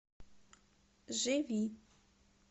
живи